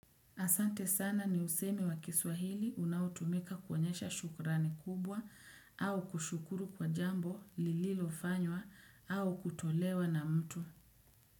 Asante sana ni usemi wa kiswahili unaotumika kuonyesha shukurani kubwa au kushukuru kwa jambo lililo fanywa au kutolewa na mtu.